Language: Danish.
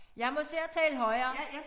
Jeg må se at tale højere